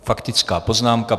Faktická poznámka.